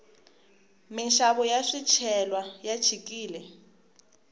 minxavo ya swicelwa ya chikile